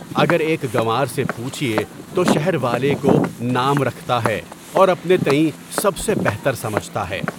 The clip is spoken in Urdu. اگر ایک گنوار سے پوچھیے تو شہر والے کوئی نام رکھتا ہے، اور اپنے تئیں سب سے بہتر سمجھتا ہے۔